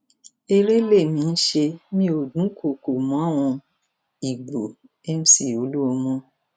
eré lèmi ń ṣe mí ó dúnkookò máwọn ìgbó mc olúmọ